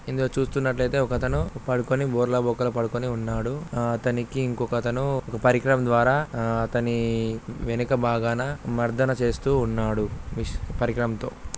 ఇందులో చుస్తునట్లు ఇతే ఓక అతను పడుకొని బోర్ల బొక్కల పడుకొని ఉన్నాడు. ఆ-- అతనికి ఇంకో ఒక అతను ఓక పరికరం ద్వార ఆ-- అతని వేణుక భాగాన మర్దన చేస్తూ ఉన్నాడు పరికారం తో.